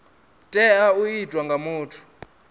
tea u itwa nga muthu